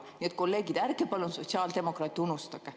Nii et, kolleegid, ärge palun sotsiaaldemokraate unustage.